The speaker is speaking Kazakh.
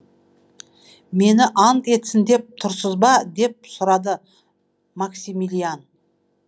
мені ант етсін деп тұрсыз ба деп сұрады максимилиан